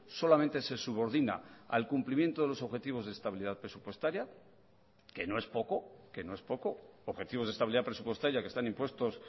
solamente se subordina al cumplimiento de los objetivos de estabilidad presupuestaria que no es poco que no es poco objetivos de estabilidad presupuestaria que están impuestos